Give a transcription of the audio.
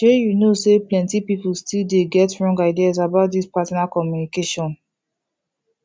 shay you know say plenty people still dey get wrong ideas about this partner communication